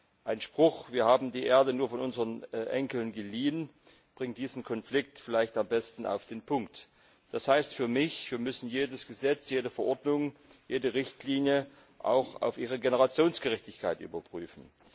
Der Spruch Wir haben die Erde nur von unseren Enkeln geliehen, bringt diesen Konflikt vielleicht am besten auf den Punkt. Das heißt für mich Wir müssen jedes Gesetz, jede Verordnung, jede Richtlinie auch auf ihre Generationengerechtigkeit überprüfen.